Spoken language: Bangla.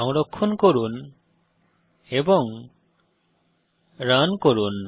সংরক্ষণ করে রান করুন